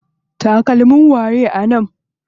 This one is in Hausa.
Takalmin waye a nan?